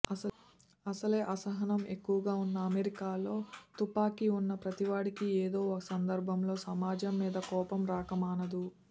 అసలే అసహనం ఎక్కువగా ఉన్న అమెరికాలో తుపాకీ ఉన్న ప్రతీవాడికి ఏదో ఓ సందర్భంలో సమాజం మీద కోపం రాకమానదు